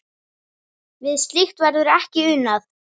Við slíkt verður ekki unað.